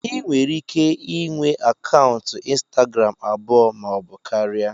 Ị nwere ike inwe akaụntụ ịnstagram abụọ maọbụ karịa